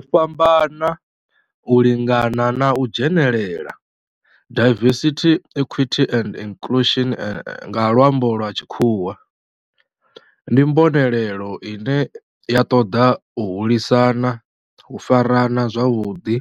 U fhambana, u lingana na u dzhenelela, diversity, equity and inclusion nga lwambo lwa tshikhuwa, ndi mbonelelo ine ya toda u hulisa u farana zwavhudi,